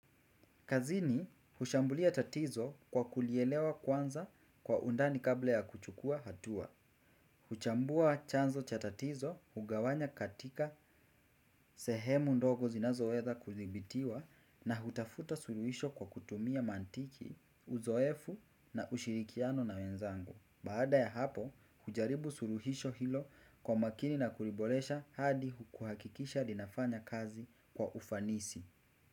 Kazini, hushambulia tatizo kwa kulielewa kwanza kwa undani kabla ya kuchukua hatua. Huchambua chanzo cha tatizo, hugawanya katika sehemu ndogo zinazoweza kudhibitiwa na hutafuta suluhisho kwa kutumia maantiki, uzoefu na ushirikiano na wenzangu. Baada ya hapo, hujaribu suluhisho hilo kwa makini na kuliboresha hadi kuhakikisha linafanya kazi kwa ufanisi.